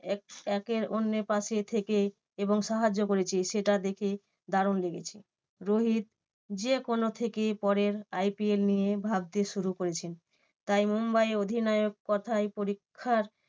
এক~ একের অন্যের পাশে থেকে এবং সাহায্য করেছে সেটা দেখে দারুন লেগেছে। রোহিত যেকোনো থেকে পরের IPL নিয়ে ভাবতে শুরু করেছে। তাই মুম্বাই অধিনায়ক কথায় পরীক্ষার